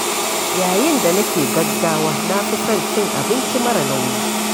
Yayin da nake gaggawa, na fi son cin abinci mara nauyi.